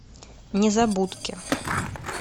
незабудки